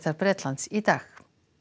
Bretlands í dag